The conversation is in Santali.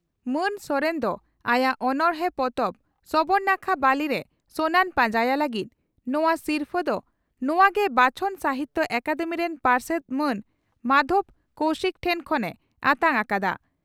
ᱢᱟᱱ ᱥᱚᱨᱮᱱ ᱫᱚ ᱟᱭᱟᱜ ᱚᱱᱚᱲᱬᱮ ᱯᱚᱛᱚᱵ 'ᱥᱚᱵᱚᱨ ᱱᱟᱠᱷᱟ ᱵᱟᱹᱞᱤᱨᱮ ᱥᱚᱱᱟᱧ ᱯᱟᱸᱡᱟᱭᱟ' ᱞᱟᱹᱜᱤᱫ ᱱᱚᱣᱟ ᱥᱤᱨᱯᱷᱟᱹ ᱫᱚ ᱱᱚᱣᱟ ᱜᱮ ᱵᱟᱪᱷᱚᱱ ᱥᱟᱦᱤᱛᱭᱚ ᱟᱠᱟᱫᱮᱢᱤ ᱨᱮᱱ ᱯᱟᱨᱥᱮᱛ ᱢᱟᱱ ᱢᱟᱫᱷᱚᱵᱽ ᱠᱚᱣᱥᱤᱠ ᱴᱷᱮᱱ ᱠᱷᱚᱱ ᱮ ᱟᱛᱟᱝ ᱟᱠᱟᱫᱼᱟ ᱾